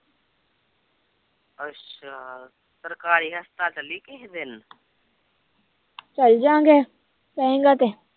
ਚਲਜਾਗੇ ਕਹੇੇਗਾਤੇ